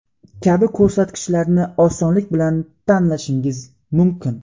kabi ko‘rsatkichlarni osonlik bilan tanlashingiz mumkin.